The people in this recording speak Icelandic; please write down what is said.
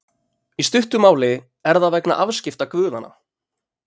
Í stuttu máli er það vegna afskipta guðanna.